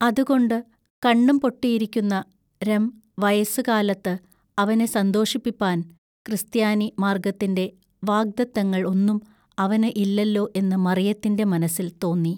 അതുകൊണ്ട് കണ്ണുംപൊട്ടിയിരിക്കുന്ന രം വയസ്സു കാലത്തു അവനെ സന്തോഷിപ്പിപ്പാൻ ക്രിസ്ത്യാനി മാൎഗ്ഗത്തിന്റെ വാഗ്ദത്തങ്ങൾ ഒന്നും അവനു ഇല്ലല്ലൊ എന്നു മറിയത്തിന്റെ മനസ്സിൽ തോന്നി.